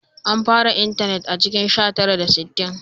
An fara intanet a cikin sha tara da sittin